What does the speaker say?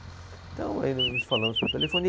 Então, aí nos, nos falamos por telefone. E